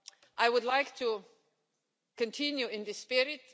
I would like to continue in this spirit.